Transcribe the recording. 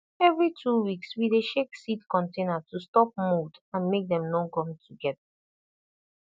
every two weeks we dey shake seed container to stop mold and make dem no gum together